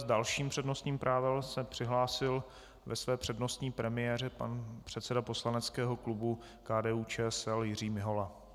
S dalším přednostním právem se přihlásil ve své přednostní premiéře pan předseda poslaneckého klubu KDU-ČSL Jiří Mihola.